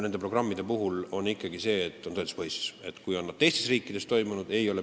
Nende programmide lähtekoht on tõenduspõhisus, see et nad on teistes riikides toiminud.